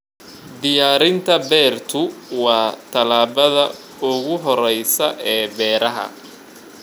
Diyaarinta beertu waa tallaabada ugu horreysa ee beeraha.